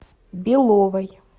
беловой